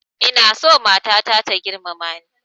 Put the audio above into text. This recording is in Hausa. Ina so matata ta girmama ni